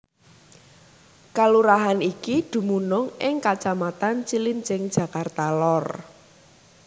Kalurahan iki dumunung ing kacamatan Cilincing Jakarta Lor